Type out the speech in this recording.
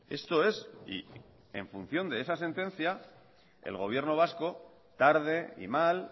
esto es y en función de esa sentencia el gobierno vasco tarde y mal